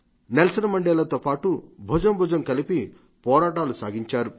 Nelson మడేలాతో పాటు భుజం భుజం కలిపి పోరాటులు సాగించారు